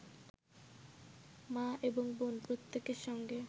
মা এবং বোন প্রত্যেকের সঙ্গে